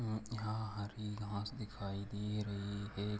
अम्म यहाँ हरी घास दिखाई दे रही है।